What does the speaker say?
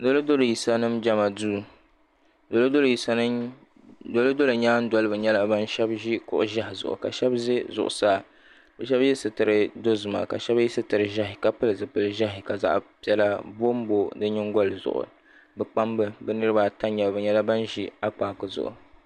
Dolodolo yisa nima Jema duu dolodolo nyaandoliba nyɛla ban ʒi kuɣu'ʒehi zuɣu ka sheba ʒɛ zuɣusaa bɛ sheba ye sitiri dozima ka sheba ye sitiri ʒehi ka pili zipil'ʒehi ka zaɣa piɛla bombo di nyingoli zuɣu bɛ kpamba bɛ nirina ata n nyɛba bɛ nyɛla bin ʒi akpaaku zuɣu.